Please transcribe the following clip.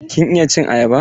Kin iya cin ayaba?